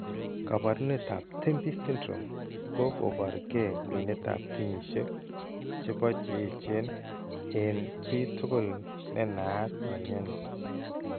Kaabarunetap TEMPI syndrome ko kokoboorke kwenetap kenyisiek che po che eechen eng' chii tugul ne naat ne mnyani.